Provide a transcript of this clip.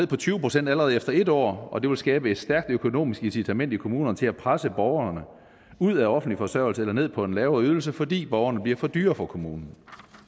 på tyve procent allerede efter en år og at det vil skabe et stærkt økonomisk incitament i kommunerne til at presse borgerne ud af offentlig forsørgelse eller ned på en lavere ydelse fordi borgerne bliver for dyre for kommunen